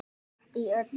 Allt í öllu.